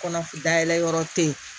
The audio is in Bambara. Kɔnɔf dayɛlɛ yɔrɔ te yen